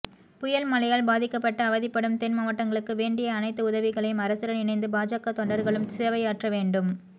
புயல் மழையால் பாதிக்கப்பட்டு அவதிப்படும்தென்மாவட்டமக்களுக்கு வேண்டிய அனைத்து உதவிகளையும்அரசுடன் இணைந்து பாஜக தொண்டர்களும் சேவையாற்ற வேண்டும்